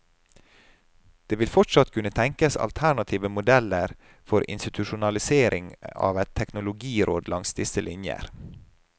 Det vil fortsatt kunne tenkes alternative modeller for institusjonalisering av et teknologiråd langs disse linjer.